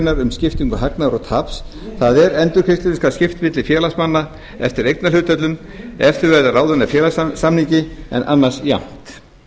grein um skiptingu hagnaðar og taps það er endurgreiðslunni skal skipt milli félagsmanna eftir eignarhlutföllum ef þau verða ráðin af félagssamningi en annars jafnt